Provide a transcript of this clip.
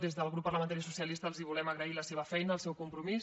des del grup parlamentari socialista els volem agrair la seva feina el seu compromís